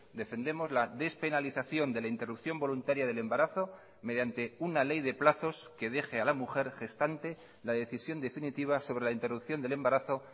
defendemos la despenalización de la interrupción voluntaria del embarazo mediante una ley de plazos que deje a la mujer gestante la decisión definitiva sobre la interrupción del embarazo